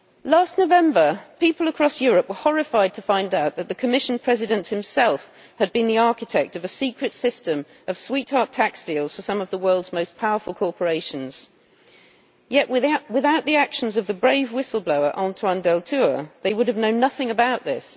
Last November, people across Europe were horrified to find out that the Commission President himself had been the architect of a secret system of sweetheart tax deals for some of the world's most powerful corporations. Yet, without the actions of the brave whistleblower, Antoine Deltour, they would have known nothing about this.